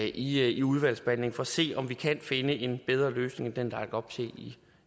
i i udvalgsbehandlingen for at se om vi kan finde en bedre løsning der er lagt op til